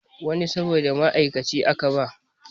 Wani sabon ma'aikaci aka ba